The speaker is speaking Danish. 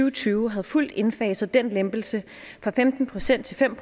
og tyve havde fuldt indfaset den lempelse fra femten procent til fem